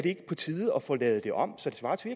ikke på tide at få lavet det om så det svarer til